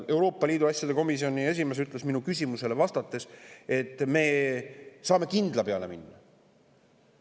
Euroopa Liidu asjade komisjoni esimees ütles minu küsimusele vastates, et me saame kindla peale minna.